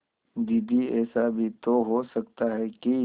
दीदी ऐसा भी तो हो सकता है कि